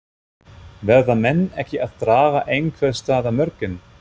Verða menn ekki að draga einhvers staðar mörkin?